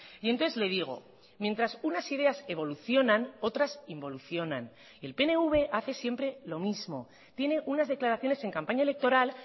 y entonces le digo mientras unas ideas evolucionan otras involucionan y el pnv hace siempre lo mismo tiene unas declaraciones en campaña electoral